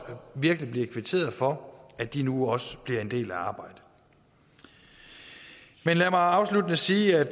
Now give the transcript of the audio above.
virkelig blev kvitteret for at de nu også bliver en del af arbejdet lad mig afsluttende sige at